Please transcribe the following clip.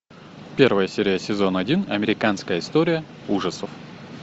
первая серия сезон один американская история ужасов